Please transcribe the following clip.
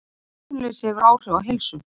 Atvinnuleysi hefur áhrif á heilsu